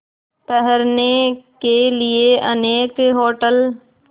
ठहरने के लिए अनेक होटल